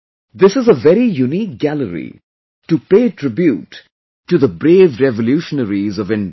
This is a very unique gallery to pay tribute to the brave revolutionaries of India